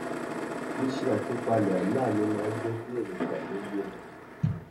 ṣíṣe àtúpalẹ àlá mi máa n jẹ kí èròngbà mi yé mi